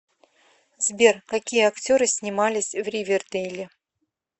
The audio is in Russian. сбер какие актеры снимались в ривердейле